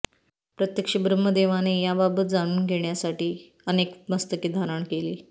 प्रत्यक्ष ब्रह्मदेवाने याबाबत जाणून घेण्यासाठी अनेक मस्तके धारण केली